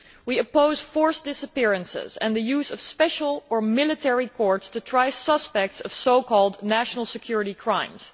We oppose forced disappearances and the use of special or military courts to try suspects of so called national security crimes.